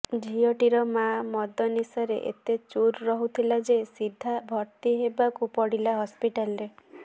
ଝିଅ ଟିର ମାଆ ମଦ ନିଶାରେ ଏତେ ଚୁର ରହୁଥିଲା ଯେ ସିଧା ଭର୍ତି ହେବାକୁପଡ଼ିଲା ହସ୍ପିଟାଲ ରେ